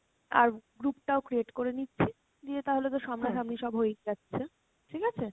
আর group টাও create করে নিচ্ছি, দিয়ে তাহলে তো সামনা সামনি সব হয়েই যাচ্ছে, ঠিক আছে?